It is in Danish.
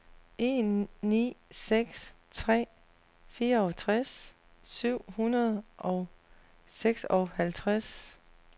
en ni seks tre fireogtres syv hundrede og seksoghalvtreds